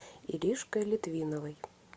иришкой литвиновой